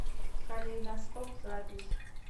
калейдоскоп запись